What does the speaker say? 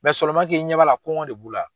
k'i ɲɛ b'a la kɔngɔ de b'u la.